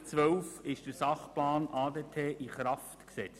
2012 wurde der Sachplan ADT in Kraft gesetzt.